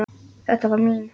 Þetta var mín.